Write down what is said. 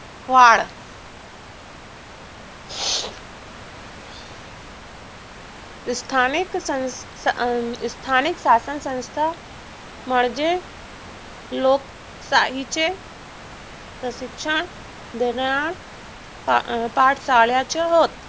स्थानिक शासनसंस्था म्हणजे लोकशाहीचे प्रशिक्षण देण्यात पास झाले आहोत.